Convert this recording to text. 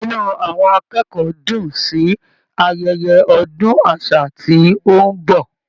Inú àwọn akẹ́kọ̀ọ́ dùn-ùn sí ayeye ọdún àṣà tí ó ń bọ̀.